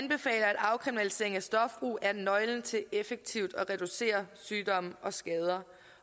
at afkriminalisering af stofbrug er nøglen til effektivt at reducere sygdomme og skader